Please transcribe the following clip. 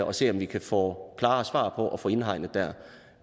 og se og vi kan få klare svar på og få indhegnet